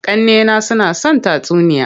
Ƙannena suna son tatsuniya.